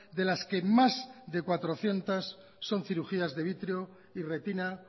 de las que más de cuatrocientos son cirugías de vitreo y retina